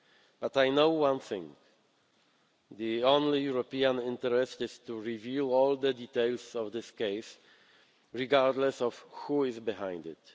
But I know one thing the only European interest is to reveal all the details of this case, regardless of who is behind